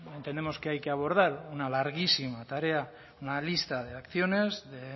entendemos que hay que abordar una larguísima tarea una lista de acciones de